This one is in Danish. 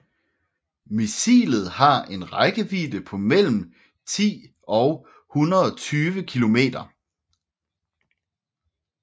Missilet har en rækkevidde på mellem 10 og 120 kilometer